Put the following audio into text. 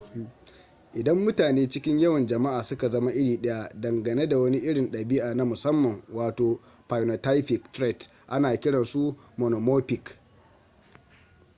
idan mutane a cikin yawan jama'a suka zama iri daya dangane da wani irin dabi'a na musamman wato phynotypic trait ana kiran su monomorphic